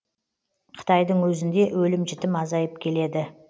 қытайдың өзінде өлім жітім азайып келеді